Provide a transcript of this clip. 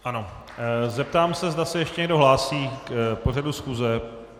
Ano, zeptám se, zda se ještě někdo hlásí k pořadu schůze.